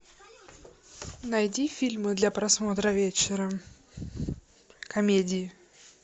найди фильмы для просмотра вечером комедии